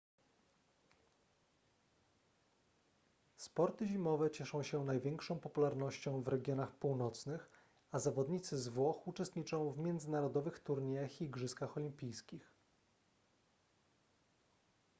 sporty zimowe cieszą się największą popularnością w regionach północnych a zawodnicy z włoch uczestniczą w międzynarodowych turniejach i igrzyskach olimpijskich